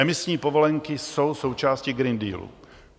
Emisní povolenky jsou součástí Green Dealu.